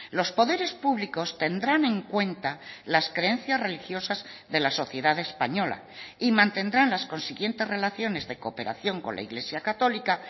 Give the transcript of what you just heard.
los poderes públicos tendrán en cuenta las creencias religiosas de la sociedad española y mantendrán las consiguientes relaciones de cooperación con la iglesia católica